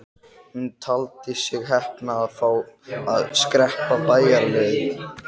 Hún taldi sig heppna að fá að skreppa bæjarleið.